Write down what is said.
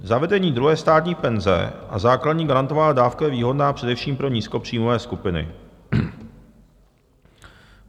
Zavedení druhé státní penze a základní garantovaná dávka je výhodná především pro nízkopříjmové skupiny.